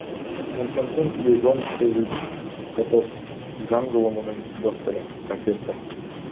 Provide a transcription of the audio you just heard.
константин флегонтович котов заң ғылымының докторы профессор